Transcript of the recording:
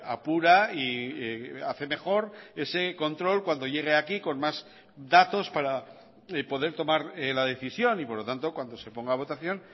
apura y hace mejor ese control cuando llegue aquí con más datos para poder tomar la decisión y por lo tanto cuando se ponga a votación